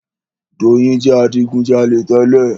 Doyin jẹ adigujalè tẹ́lẹ̀.